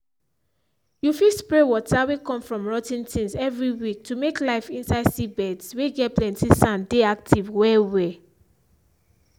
you fit spray water whey come from rot ten things every week to make life inside seedbeds whey get plenty sand dey active well well